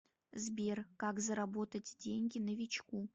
сбер как заработать деньги новичку